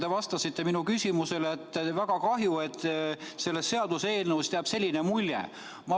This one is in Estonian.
Te vastasite minu küsimusele, et väga kahju, et sellest seaduseelnõust jääb selline mulje.